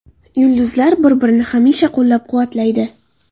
Yulduzlar bir-birini hamisha qo‘llab-quvvatlaydi.